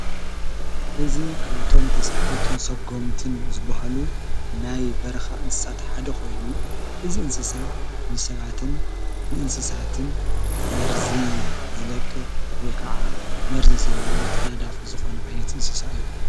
እዝ ከእቶም ተስሓውትን ሰጎምትን ዝብሃሉ ናይ በርኻ እንሳት ሓደ ኾይኑ እዝእንስሳ ንሰባትን ምእንስሳትን መርዝ ዝለቅቕ ወይ ከዓ መርዚ ዘለዎ ተናዳፊ ዝኾነ ኣይነት ይንስሳ እዩ።